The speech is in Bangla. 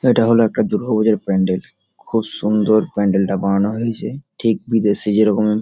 এটা হলো একটা দূর্গা পুজোর প্যান্ডেল খুব সুন্দর প্যান্ডেল তা বানানো হয়েছে ঠিক বিদেশে যেরকম--